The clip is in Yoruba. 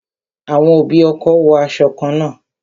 Àwọn òbí ọkọ wo aṣọ kan náà